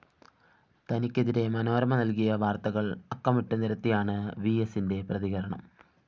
തനിക്കെതിരെ മനോരമ നല്‍കിയ വാര്‍ത്തകള്‍ അക്കമിട്ടു നിരത്തിയാണ് വിഎസിന്റെപ്രതികരണം